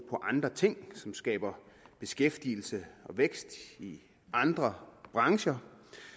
andre ting som skaber beskæftigelse og vækst i andre brancher